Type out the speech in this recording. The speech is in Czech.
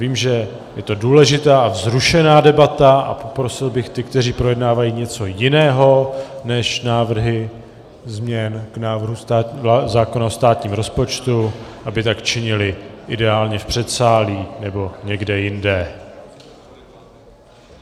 Vím, že je to důležitá a vzrušená debata, a poprosil bych ty, kteří projednávají něco jiného než návrhy změn k návrhu zákona o státním rozpočtu, aby tak činili ideálně v předsálí nebo někde jinde.